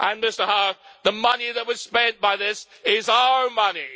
And, Mr Howarth, the money that was spent by this is our money.